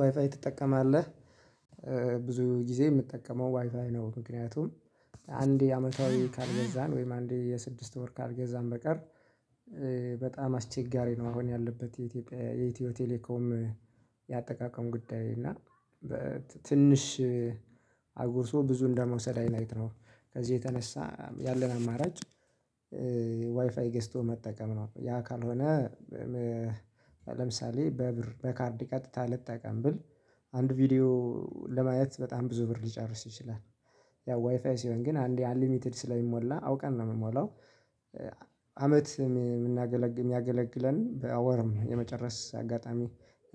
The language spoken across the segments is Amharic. ዋይፋይ ትጠቀማለህ ብዙ ጊዜ የምጠቀመው ዋይፋይ ነው ምክንያቱም። አንዴ የአመታዊ ካልገዛን ወይም አንዴ የስድስት ወር ካልገዛን በቀር። በጣም አስቸጋሪ ነው። አሁን ያለበት የኢትዮጽያ የኢትዮ ቴሌኮም ያጠቃቀም ጉዳይ እና። ትንሽ አጉርሶ ብዙ እንደመውሰድ አይነት ነው። ከዚህ የተነሳ ያለን አማራጭ። ዋይፋይ ገዝቶ መጠቀም ነው። ያ ካልሆነ። ለምሳሌ በብር በካርድ ቀጥታ ልጠቀም ብል አንድ ቪዲዮ ለማየት በጣም ብዙ ብር ሊጨርስ ይችላል። ያው ዋይፋይ ሲሆን ግን አንዴ አንሊሚትድ ስለሚሞላ አውቀን ነው እምንሞላው። አመት የሚያገለግለን በወርም የመጨረስ አጋጣሚ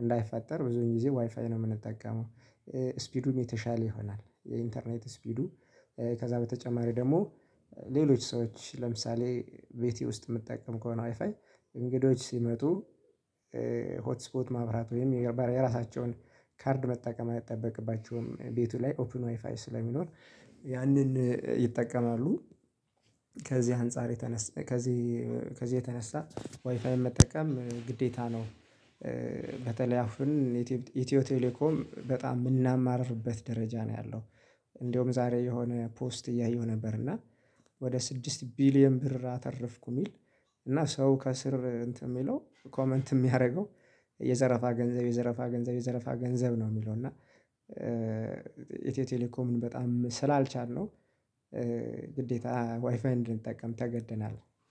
እንዳይፈጠር ብዙ ጊዜ ዋይፋይ ነው የምንጠቀመው። ስፒዱም የተሻለ ይሆናል። የኢንተርኔት ስፒዱ ከዛ በተጨማሪ ደግሞ ሌሎች ሰዎች ለምሳሌ ቤቴ ውስጥ የምጠቀም ከሆነ አይፋይ እንግዶች ሲመጡ። ሆት ስፖት ማብራት ወይም የራሳቸውን ካርድ መጠቀም አይጠበቅባቸውም ቤቱ ላይ ኦፕን ዋይፋይ ስለሚኖር ያንን ይጠቀማሉ። ከዚህ አንፃር የተነሳ ከዚህ ከዚህ የተነሳ ዋይፋይን መጠቀም ግዴታ ነው። በተለይ አሁን ኢትዮ ቴሌኮም በጣም የምናማርርበት ደረጃ ነው ያለው። እንደውም ዛሬ የሆነ ፖስት እያየሁ ነበር እና ወደ ስድስት ቢሊየን ብር አተረፍኩ እሚል። እና ሰው ከስር እንትን የሚለው ኮመንት እሚያረገው የዘረፋ ገንዘብ የዘረፋ ገንዘብ የዘረፋ ገንዘብ ነው። የሚለው እና ኢትዮ ቴሌኮምን በጣም ስላልቻልነው። ግዴታ ዋይፋይን እድንጠቀም ተገደናል።